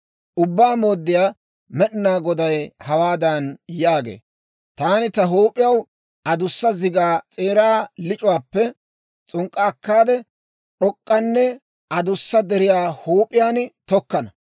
« ‹Ubbaa Mooddiyaa Med'inaa Goday hawaadan yaagee; «Taani ta huup'iyaw adussa zigaa s'eeraa lic'uwaappe s'unk'k'a akkaade, d'ok'k'anne adussa deriyaa huup'iyaan tokkana.